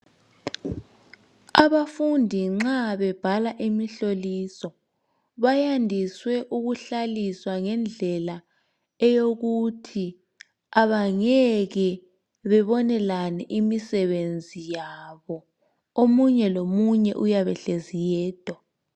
Abafundi nxa bebhala imihloliso bayandiswe ukuhlaliswa ngendlela eyokuthi abangeke bebonelane imisebenzi yabo omunye lomunye uyabe ehlezi yedwa.